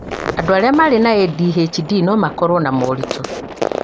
andũ arĩa marĩ na ADHD no makorwo na moritũ